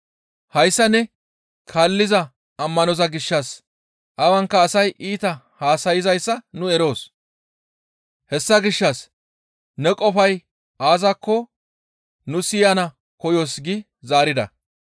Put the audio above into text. Hayssa ne kaalliza ammanoza gishshas awanka asay iita haasayzayssa nu eroos; hessa gishshas ne qofay aazakko nu siyana koyoos» gi zaarida.